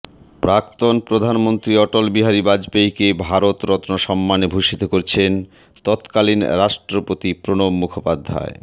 প্রাক্তন প্রধানমন্ত্রী অটলবিহারী বাজপেয়ীকে ভারত রত্ন সম্মানে ভূষিত করছেন তৎকালীন রাষ্ট্রপতি প্রণব মুখোপাধ্যায়